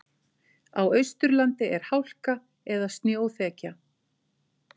Á Austurlandi er hálka eða snjóþekja